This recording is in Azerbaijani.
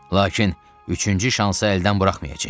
Lakin üçüncü şansı əldən buraxmayacağıq.